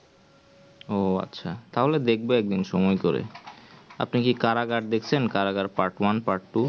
ওহ আচ্ছা তাহলে দেখবো একদিন সময়ে করে আপনি কি jail দেখেছে jail part-one part-two